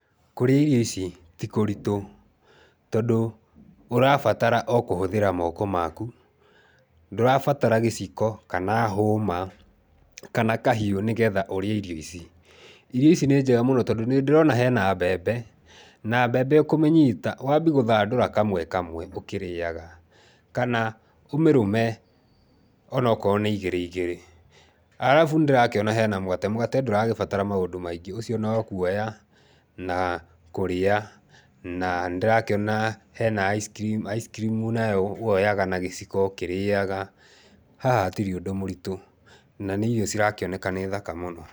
Kũrĩa irio ici ti kũritũ tondũ ũrabatara o kũhũthĩra moko makũ, ndũrabatara gĩciko kana hũma kana kahiũ nĩgetha ũrĩe irio ici. Irio ici nĩ njega mũno tondũ nĩ ndĩrona hena mbembe na mbembe ũkũmĩnyita wambie gũthandũra kamwe kamwe ũkĩmĩrĩaga kana ũmĩrũme onokorwo nĩ ĩgĩrĩ igĩrĩ. Arabu nĩ ndĩrona he na mũgate, mũgate ndũragĩbatara maũndũ maingĩ, no kuoya na kũrĩa na nĩndĩrakĩona hena ice cream, ice cream nayo woyaga na gĩciko ũkĩrĩaga. Haha hatirĩ ũndũ mũritũ na nĩ irio cirakĩoneka nĩ thaka mũno.